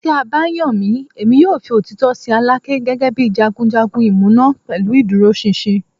Ti a ba yan mi, Emi yoo fi otitọ sin Alake gẹgẹbi jagunjagun imuna pẹlu iduroṣinṣin